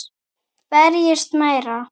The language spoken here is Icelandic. Berjist meira.